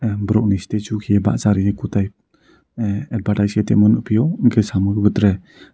borok ni statue ke basa riyoe kotai ah bataisite nogphiu hingke samo tere.